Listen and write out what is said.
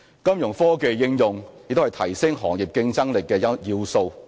金融科技應用也是提升行業競爭力的要素。